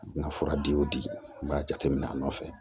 Nka fura di o di b'a jateminɛ a nɔfɛ